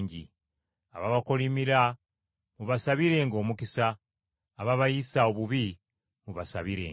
Ababakolimira mubasabirenga omukisa; ababayisa obubi mubasabirenga.